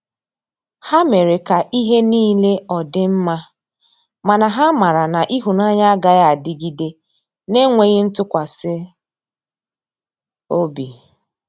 Ha mere ka ihe nile ọdi mma, mana ha mara na ihunanya agaghi adịgide n'enweghi ntụkwasi ọbị.